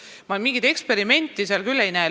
Ma ei näe seal küll mingit eksperimenti.